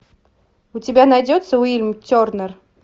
у тебя найдется уильям тернер